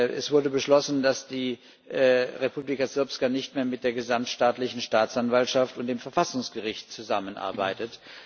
Es wurde beschlossen, dass die Republika Srpska nicht mehr mit der gesamtstaatlichen Staatsanwaltschaft und dem Verfassungsgericht zusammenarbeitet.